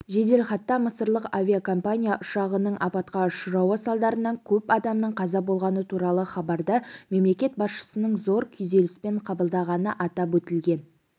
жеделхатта мысырлық авиакомпания ұшағының апатқа ұшырауы салдарынан көп адамның қаза болғаны туралы хабарды мемлекет басшысының зор күйзеліспен қабылдағаны атап өтілген